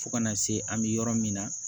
Fo kana se an bɛ yɔrɔ min na